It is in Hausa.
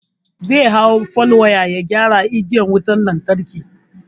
Zai hau fal waya ya gyara igiyar wutan lantarki.